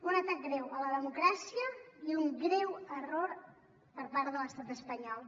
un atac greu a la democràcia i un greu error per part de l’estat espanyol